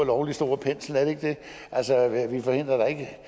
lovlig stor pensel er det ikke det altså vi forhindrer da